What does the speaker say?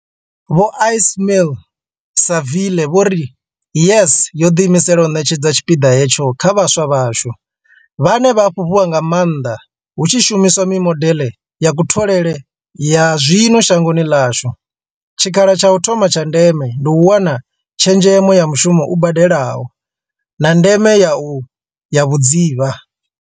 Vho Ismail-Saville vho ri, YES yo ḓiimisela u ṋetshedza tshipiḓa hetsho kha vhaswa vhashu, vhane vha a fhufhiwa nga maanḓa hu tshi shumiswa mimodeḽe ya kutholele ya zwino shangoni ḽashu, tshikha la tsha u thoma tsha ndeme ndi u wana tshezhemo ya mushumo u badelaho, na ndeme ya vhudzivha.